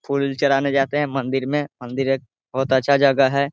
फूल चढ़ाने जाते है मंदिर में मंदिर एक बहुत अच्छा जगह हैं।